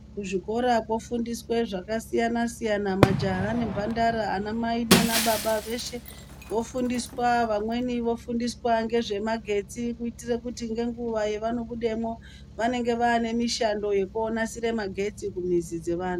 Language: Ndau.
Kuzvikora kofundiswe zvakasiyana siyana majaha nemhandara anamai nanababa veshe vofundiswa vamweni vofundiswa ngezvemagetsi kuitire kuti ngenguva yavanobudemwo vanenge vane mishando yekonasire magetsi kumizi dzevantu.